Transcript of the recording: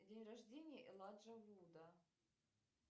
день рождения элайджа вуда